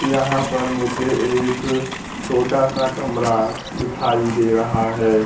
यहां पर मुझे एक छोटा सा कमरा दिखाई दे रहा है।